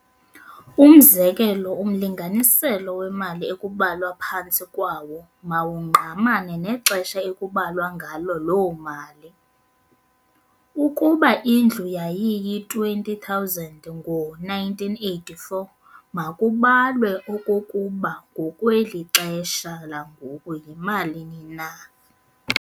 Umzekelo umlinganiselo wemali ekubalwa phantsi kwawo mawungqamane nexesha ekubalwa ngalo loo mali. Ukuba indlu yayiyi R20 000 ngo 1984, makubalwe okokuba ngokwelixesha langoku yimalini na.